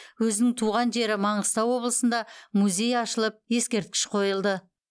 өзінің туған жері маңғыстау облысында музей ашылып ескерткіш қойылды